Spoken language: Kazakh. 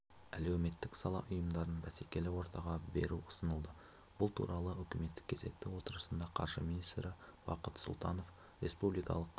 әәлеуметтік сала ұйымдарын бәсекелі ортаға беруұсынылды бұл туралы үкіметтік кезекті отырысында қаржы министрі бақыт сұлтанов республикалық